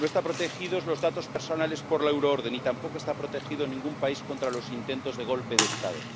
No están protegidos los datos personales por la euroorden y tampoco está protegido ningún país contra los intentos de golpe de Estado.